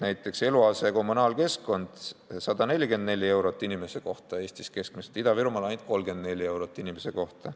Näiteks, eluase, kommunaalmajandus ja keskkond: 144 eurot inimese kohta Eestis keskmiselt, Ida-Virumaal ainult 34 eurot inimese kohta.